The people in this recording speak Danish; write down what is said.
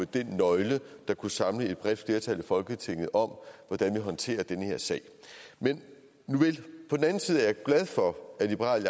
den nøgle der kunne samle et bredt flertal i folketinget om hvordan vi håndterer den her sag men på den anden side er jeg glad for at liberal